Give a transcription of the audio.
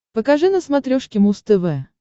покажи на смотрешке муз тв